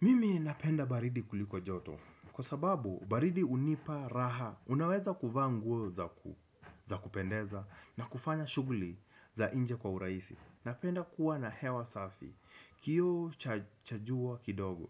Mimi napenda baridi kuliko joto, kwa sababu baridi unipa raha, unaweza kuvanguo za kupendeza na kufanya shuguli za inje kwa uraisi. Napenda kuwa na hewa safi, kio chajua kidogo,